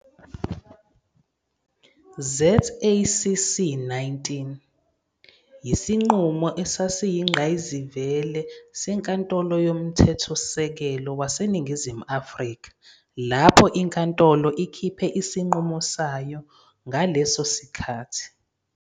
ZACC 19, yisinqumo esiyingqayizivele seNkantoloYoMthethosisekelo waseNingizimu Afrika lapho inkantolo ikhiphe isinqumo sayo ngaso leso sikhathi